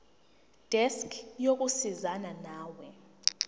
desk yokusizana nawe